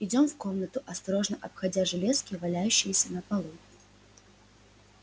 идём в комнату осторожно обходя железки валяющиеся на полу